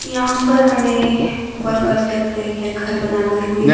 यहां पर हमें वर्कर दिख रहे है घर बनाते हुए।